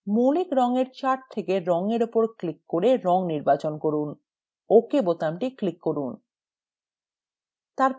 মৌলিক রঙের chart থেকে রঙের উপর click করে রঙ নির্বাচন করুন ok বোতামটি click করুন